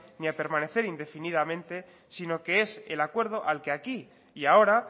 ni a permanecer indefinidamente sino que es el acuerdo al que aquí y ahora